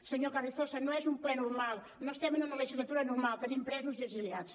senyor carrizosa no és un ple normal no estem en una legislatura normal tenim presos i exiliats